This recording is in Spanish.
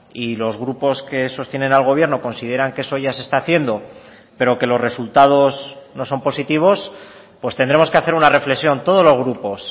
y los grupos que sostienen al gobierno consideran que eso ya se está haciendo pero que los resultados no son positivos pues tendremos que hacer una reflexión todos los grupos